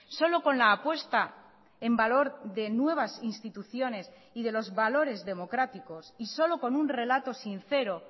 solo con la apuesta en valor de nuevas instituciones y de los valores democráticos y solo con un relato sincero